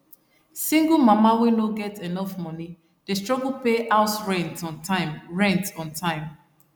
single mama wey no get enough money dey struggle pay house rent on time rent on time